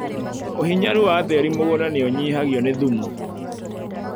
ũhinyaru wa tĩri wa mũgunda nĩũnyihagio nĩ thumu.